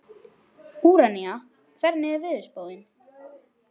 Úranía, hvernig er veðurspáin?